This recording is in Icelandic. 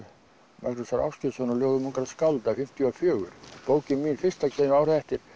Magnúsar Ágeirssonar á ljóðum ungra skálda fimmtíu og fjögur bókin mín fyrsta kemur árið eftir